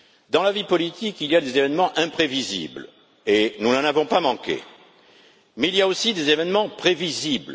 Dans la vie politique, il y a des événements imprévisibles et nous n'en avons pas manqué, mais il y a aussi des événements prévisibles.